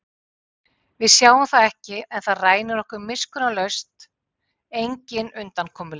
Við sjáum það ekki en það rænir okkur miskunnarlaust, engin undankomuleið.